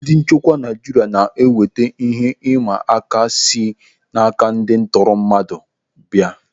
Ndị nchekwa Naijiria na-enweta ihe ị mma aka si n'aka ndị ntọrọmmadụ a bịa.